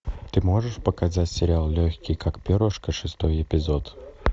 ты можешь показать сериал легкий как перышко шестой эпизод